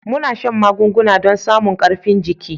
Muna shan magunguna don samun karifin jiki.